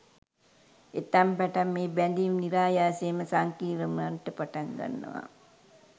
එතැන් පටන් මේ බැදීම් නිරායාසයෙන්ම සංකීර්ණ වන්නට පටන්ගන්නවා